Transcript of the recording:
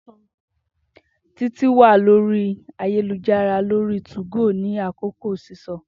Titi wa lori ayelujara lori 2go ni akoko sisọ.